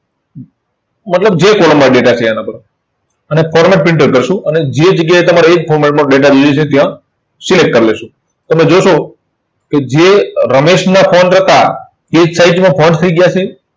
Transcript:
મતલબ જે column માં data છે, એના પર. અને format printer કરશું અને જે જગ્યાએ તમારે એ જ format માં data જોઈએ છે, ત્યાં select કરી લઈશું. તમે જોશો કે જે રમેશના હતા, તે size માં થઇ ગયા છે.